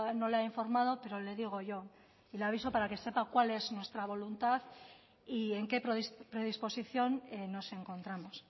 ha informado pero le digo yo y le aviso para que sepa cuál es nuestra voluntad y en qué predisposición nos encontramos